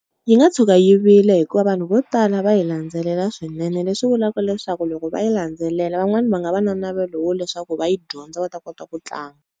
Yi nga tshuka yi vile hikuva vanhu vo tala va yi landzelela swinene leswi vulaka leswaku loko va yi landzelela van'wani va nga va na navelo wa leswaku va yi dyondza va ta kota ku tlanga.